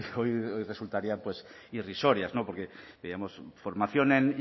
hoy resultarían irrisorias porque veíamos formación en